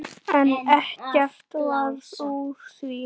En ekkert varð úr því.